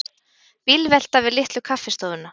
Bílvelta við Litlu kaffistofuna